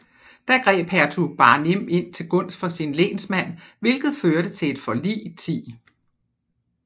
Da greb Hertug Barnim ind til gunst for sin lensmand hvilket førte til et forlig l0